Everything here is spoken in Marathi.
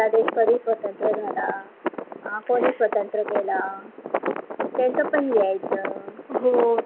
आपला देश कधी स्वतत्र झाला, कोणी स्वतंत्र केला त्यांचा पण लिहायच.